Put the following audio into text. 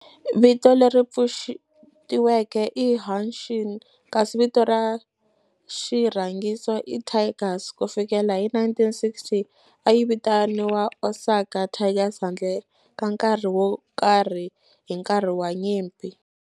Vito leri pfuxetiweke i Hanshin kasi vito ra xirhangiso i Tigers. Ku fikela hi 1960, a yi vitaniwa Osaka Tigers handle ka nkarhi wo karhi hi nkarhi wa nyimpi.